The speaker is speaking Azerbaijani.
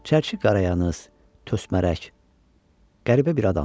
Çərçi qarayaxız, tösmərək, qəribə bir adamdı.